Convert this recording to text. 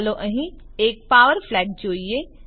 ચાલો અહીં એક પાવર ફ્લેગ જોડીએ